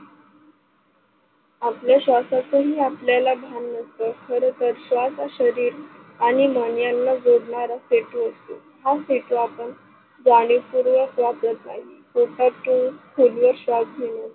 आपल्या श्वासाच ही आपल्याला भान नसत खर तर श्वास शरीर आणि मन याना जोडणारा पेट्रो. हा पेट्रो आपण जाणीव पुर्वक वापरत नाही पोटात घेऊन खोलवर श्वास घेऊन